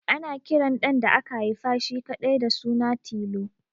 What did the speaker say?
Ana kiran ɗan da aka haifa shi kaɗai da suna Tilo